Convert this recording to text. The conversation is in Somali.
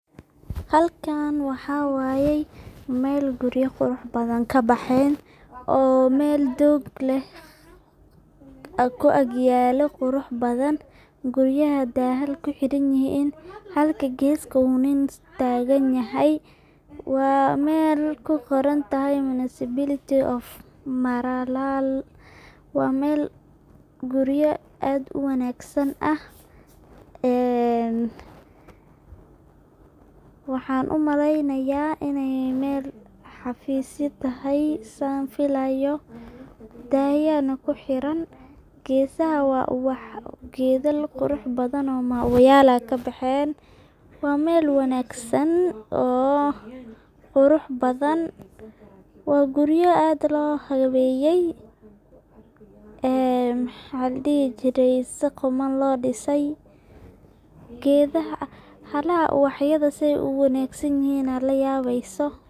Halkan waxa waye Mel guriya qurux badan kabexeen oo Mel doog leh oo ku ag yalo qurux badan, guriyaha daahal kuxiran yihin halka geska uu nin tagan yahay, waa Mel kuqoran tahay municipality of maralal waa Mel guriya aad uwanaagsan ah en waxan umaleynayaa inay Mel xaafisya tahay San filayo, dahya na kuxiran, gesaha waa gedal qurux badan oo mauwayal ah aya kabexeen, waa Mel wanaagsan oo qurux badan, waa guriyo aad loo habeeyey ee maxa ladhihi jiray si quman loo dhisay, gedaha agtoda, halaha uwaxyada sai uwanaagsan yihin aa layabeyso